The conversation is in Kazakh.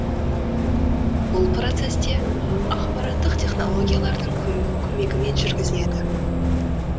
бұл процесс те ақпараттық технологиялардың көмегімен жүргізіледі